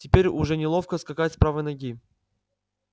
теперь уже неловко скакать с правой ноги